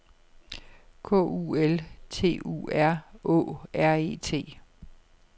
K U L T U R Å R E T